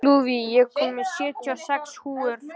Lúðvíg, ég kom með sjötíu og sex húfur!